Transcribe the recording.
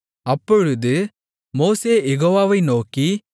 அப்பொழுது மோசே யெகோவாவை நோக்கி